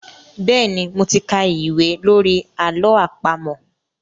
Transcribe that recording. Bẹ́ẹ̀ni, mo ti ka ìwé lórí àlọ́ àpamọ̀.